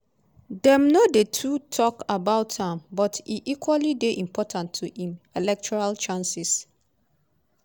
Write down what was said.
dem no dey too tok about am but e equally dey important to im electoral chances.